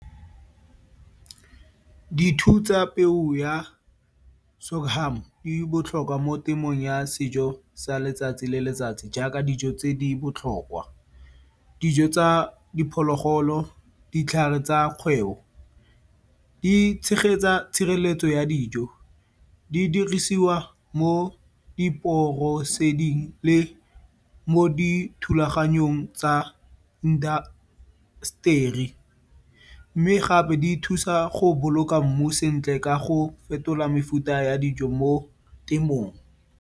tsa peo ya di botlhokwa mo temong ya sejo sa letsatsi le letsatsi jaaka dijo tse di botlhokwa. Dijo tsa diphologolo, ditlhare tsa kgwebo, di tshegetsa tshireletso ya dijo. Di dirisiwa mo le mo dithulaganyong tsa indasteri mme gape di thusa go boloka mmu sentle ka go fetola mefuta ya dijo mo temong.